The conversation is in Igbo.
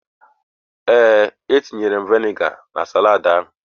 Ee, etinyere m vinegar na saladị a.